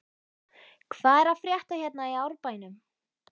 Hvað er að frétta hérna í Árbænum?